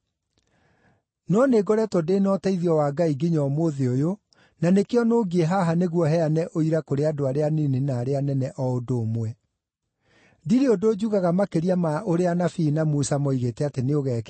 No nĩngoretwo ndĩ na ũteithio wa Ngai nginya ũmũthĩ ũyũ, na nĩkĩo nũngiĩ haha nĩguo heane ũira kũrĩ andũ arĩa anini na arĩa anene o ũndũ ũmwe. Ndirĩ ũndũ njugaga makĩria ma ũrĩa anabii na Musa moigĩte atĩ nĩũgekĩka,